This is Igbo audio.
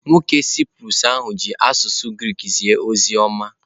Nwoke Saịprọs ahụ ji asụsụ Grik zie ozi ọma.